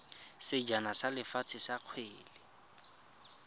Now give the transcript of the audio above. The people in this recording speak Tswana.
sejana sa lefatshe sa kgwele